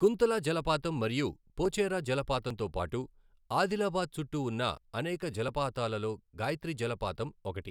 కుంతలా జలపాతం మరియు పోచేరా జలపాతంతో పాటు, ఆదిలాబాద్ చుట్టూ ఉన్న అనేక జలపాతాలలో గాయత్రి జలపాతం ఒకటి.